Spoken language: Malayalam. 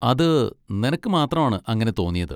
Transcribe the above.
അത് നിനക്ക് മാത്രമാണ് അങ്ങനെ തോന്നിയത്!